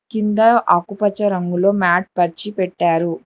కింద ఆకుపచ్చ రంగులో మ్యాట్ పరచిపెట్టారు.